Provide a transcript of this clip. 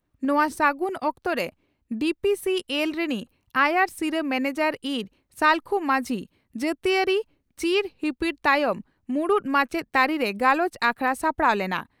ᱱᱚᱣᱟ ᱥᱟᱹᱜᱩᱱ ᱚᱠᱛᱚᱨᱮ ᱰᱤᱹᱯᱤᱹᱥᱤᱹᱮᱞᱹ ᱨᱮᱱᱤᱡ ᱟᱭᱟᱨ ᱥᱤᱨᱟᱹ ᱢᱮᱱᱮᱡᱚᱨ ᱤᱸᱨ ᱥᱟᱹᱞᱠᱷᱩ ᱢᱟᱹᱡᱷᱤ ᱡᱟᱹᱛᱤᱭᱟᱹᱨᱤ ᱪᱤᱨ ᱦᱤᱯᱤᱲ ᱛᱟᱭᱚᱢ ᱢᱩᱬᱩᱛ ᱢᱟᱪᱮᱛ ᱛᱟᱹᱨᱤᱨᱮ ᱜᱟᱞᱚᱪ ᱟᱠᱷᱲᱟ ᱥᱟᱯᱲᱟᱣ ᱞᱮᱱᱟ ᱾